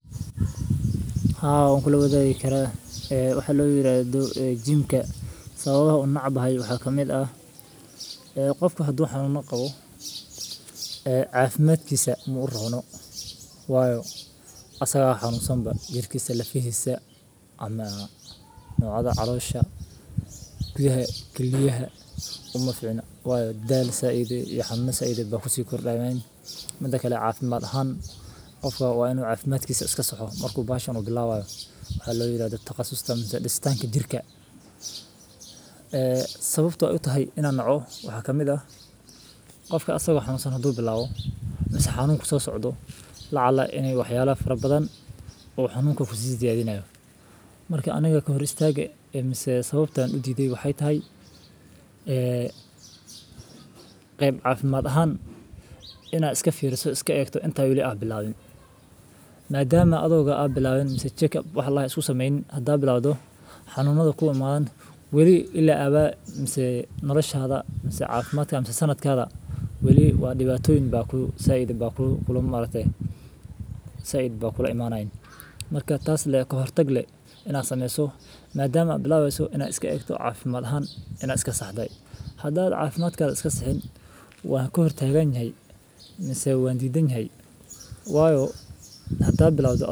Haa wan kulawagi kara waxa layirahdo jimka sawabaha an unecbahay waxa kamid ah ee qofka hadu xanuno qawo cafimadkisa maurono wayo asagaba xanusan jirkisa lafahisa calosha kiliyaha umaficno wayo daal said iyo xanuno said aya kusikordanayan mida kale cafimad ahaan wa inu cafimdkisa iskasaxo waxa layirahdo taqasuska ama disitanka jirka. Sawabta utahay in an noco wax waye qofka hadu bialwo asago xanun kusosocdo lacala fara badan xanunka ayu kusisiyadinaya marka aniga sawabta udidanyoho wexey tahay qeyb caafimad ahaan in an iskafiriso inta ad bilawin madama adigo wax checkup ladahayo iskusameynin hda sameynso xanunada kuwa wali ila abaa mise nolasha mise sanadah diwatoyin badan aya maaragte said kulaimanayan marka kahortag in ad egto oo madama ad bilaweyso cafimad ahaan ad iskasaxdo.